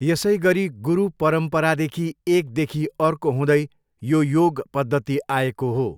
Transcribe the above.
यसै गरी गुरु परम्पराद्वारा एकदेखि अर्को हुँदै यो योग पद्यति आएको हो।